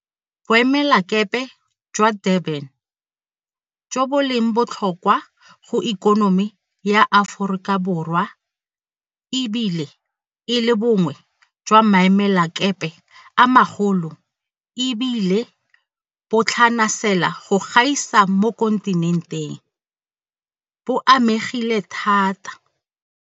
Boemelakepe jwa Durban, jo bo leng botlhokwa go ikonomi ya Aforika Borwa e bile e le bongwe jwa maemelakepe a magolo e bile bo tlhanasela go gaisa mo kontinenteng, bo amegile thata.